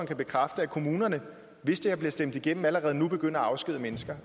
kan bekræfte at kommunerne hvis det her bliver stemt igennem allerede nu begynder at afskedige mennesker